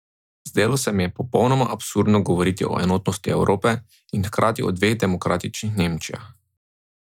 Zdelo se mi je popolnoma absurdno govoriti o enotnosti Evrope in hkrati o dveh demokratičnih Nemčijah.